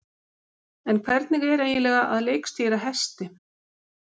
En hvernig er eiginlega að leikstýra hesti?